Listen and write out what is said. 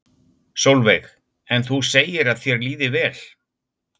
Sólveig: En þú segir að þér líði vel?